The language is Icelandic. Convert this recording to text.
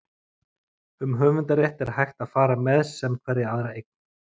Um höfundarrétt er hægt að fara með sem hverja aðra eign.